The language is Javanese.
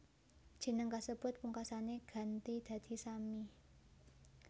Jeneng kasebut pungkasané ganti dadi Sammi